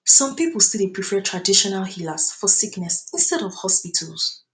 some pipo still dey prefer traditional healers for sickness instead of hospitals